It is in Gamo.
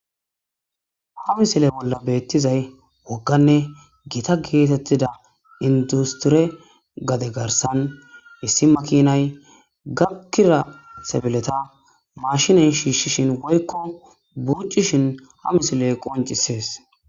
Ha misile bolla beettizay wogganne gita geetettida industire gade garsan issi makinay gakira sebileta mashiney shiishshishin woykko buccishin ha misiley qoncisees.